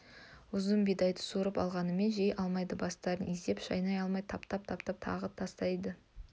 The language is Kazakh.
ұзын бидайды суырып алғанымен жей алмайды бастарын изеп шайнай алмай таптап тастап тағы тістейді